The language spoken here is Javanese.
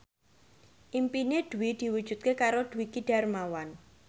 impine Dwi diwujudke karo Dwiki Darmawan